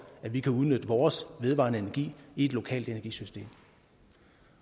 at vi kan udnytte vores vedvarende energi i et lokalt energisystem